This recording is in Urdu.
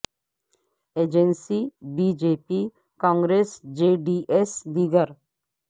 agency B J P Congress J D S دیگر